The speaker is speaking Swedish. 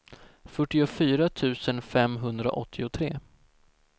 fyrtiofyra tusen femhundraåttiotre